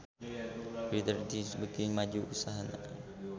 Reader Digest beuki maju usahana